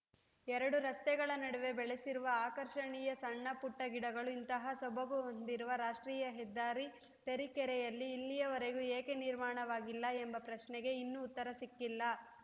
ಎರಡು ರಸ್ತೆಗಳ ನಡುವೆ ಬೆಳೆಸಿರುವ ಆಕರ್ಷಣೀಯ ಸಣ್ಣ ಪುಟ್ಟಗಿಡಗಳು ಇಂತಹ ಸೊಬಗು ಹೊಂದಿರುವ ರಾಷ್ಟ್ರೀಯ ಹೆದ್ದಾರಿ ತರೀಕೆರೆಯಲ್ಲಿ ಇಲ್ಲಿಯವರೆಗೂ ಏಕೆ ನಿರ್ಮಾಣವಾಗಿಲ್ಲ ಎಂಬ ಪ್ರಶ್ನೆಗೆ ಇನ್ನೂ ಉತ್ತರ ಸಿಕ್ಕಿಲ್ಲ